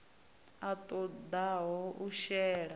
a ṱo ḓaho u shela